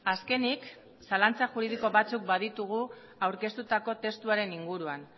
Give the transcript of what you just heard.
azkenik zalantza juridiko batzuk baditugu aurkeztutako testuaren inguruan